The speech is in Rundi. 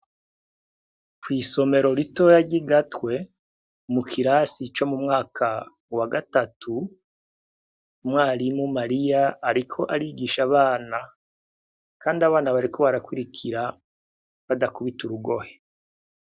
Kw'isomero ritoya ry'i Gatwe, mu kirasi co mu mwaka wa gatatu, umwarimu, Mariya, ariko arigisha abana. Kandi abana bariko barakurikira badakubita urugohe.